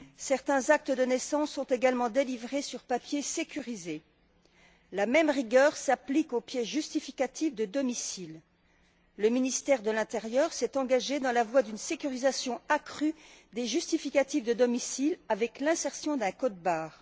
Certains actes de naissance sont également délivrés sur papier sécurisé. La même rigueur s'applique aux pièces justificatives de domicile. Le ministère de l'intérieur s'est engagé dans la voie d'une sécurisation accrue des justificatifs de domicile avec l'insertion d'un code barre.